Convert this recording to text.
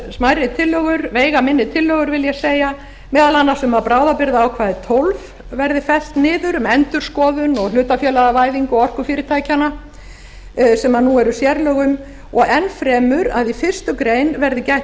smærri tillögur veigaminni tillögur vil ég segja meðal annars um að bráðabirgðaákvæði tólf verði fellt niður um endurskoðun og hlutafélagavæðingu orkufyrirtækjanna sem nú eru sérlög um og enn fremur að í fyrstu grein verði gætt